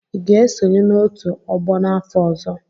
Ị ga-esonye n'otu ọgbọ n'afọ ọzọ?